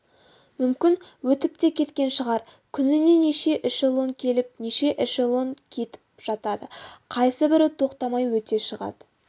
мүмкін өтіп те кеткен шығар күніне неше эшелон келіп неше эшелон кетіп жатады қайсыбірі тоқтамай өте шығады